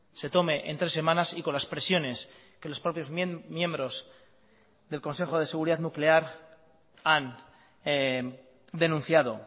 se tome en tres semanas y con las presiones que los propios miembros del consejo de seguridad nuclear han denunciado